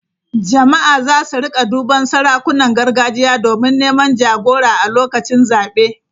Jama’a za su rika duban sarakunan gargajiya domin neman jagora a lokacin zabe.